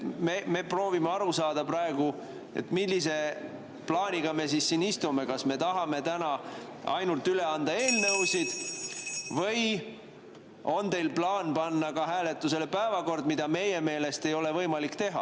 Me proovime praegu aru saada, millise plaaniga me siin istume, kas me tahame täna ainult anda üle eelnõusid või on teil plaan panna hääletusele päevakord, mida meie meelest ei ole võimalik teha.